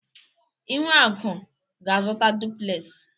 Ihuaku ga-azụta duplez.